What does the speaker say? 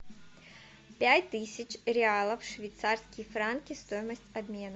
пять тысяч реалов швейцарские франки стоимость обмена